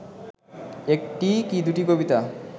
একটি কি দুটি কবিতা